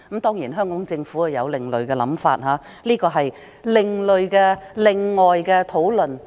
當然，香港政府有另類想法，而這是另外的一項討論。